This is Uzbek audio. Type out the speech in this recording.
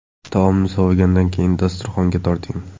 Taomni sovigandan keyin dasturxonga torting.